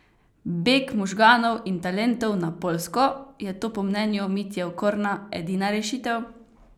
Beg možganov in talentov na Poljsko, je to po mnenju Mitje Okorna edina rešitev?